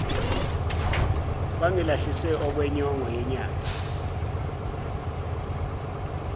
bangilahlise okwenyongo yenyathi